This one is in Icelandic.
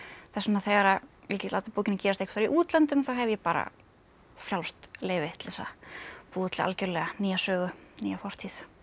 þess vegna þegar ég læt bókina gerast í útlöndum þá hef ég bara frjálst leyfi til þess að búa til algjörlega nýja sögu nýja fortíð